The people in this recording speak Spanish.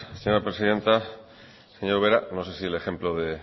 señora presidenta señora ubera no sé si el ejemplo de